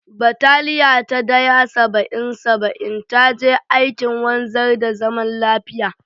Bataliya ta Daya -Saba'in -Saba'in ta je aikin wanzar da zaman lafiya.